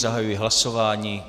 Zahajuji hlasování.